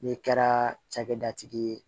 N'i kɛra cakɛdatigi ye